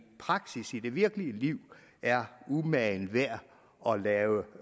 praksis i det virkelige liv er umagen værd at lave